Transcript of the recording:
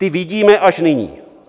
Ty vidíme až nyní.